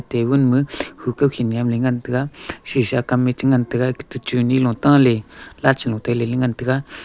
table ma hukah khel ngan ley taiga kam ya nagan taiga chune lu taley ngan taiga.